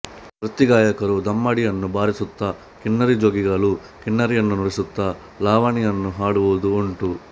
ವೃತ್ತಿಗಾಯಕರು ದಮ್ಮಡಿಯನ್ನು ಬಾರಿಸುತ್ತ ಕಿನ್ನರಿ ಜೋಗಿಗಳು ಕಿನ್ನರಿಯನ್ನು ನುಡಿಸುತ್ತಾ ಲಾವಣಿಯನ್ನು ಹಾಡುವುದೂ ಉಂಟು